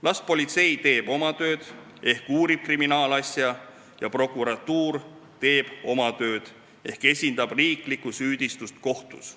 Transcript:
Las politsei teeb oma tööd ehk uurib kriminaalasja ja prokuratuur teeb oma tööd ehk esindab riiklikku süüdistust kohtus.